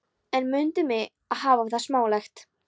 En mundu mig um að hafa það smálegt.